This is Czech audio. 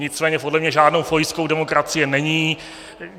Nicméně podle mě žádnou pojistkou demokracie není.